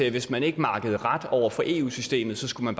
at hvis man ikke makkede ret over for eu systemet skulle